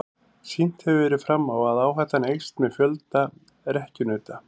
Sýnt hefur verið fram á að áhættan eykst með fjölda rekkjunauta.